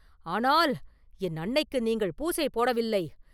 ஆனால், என் அன்னைக்கு நீங்கள் பூசை போடவில்லை!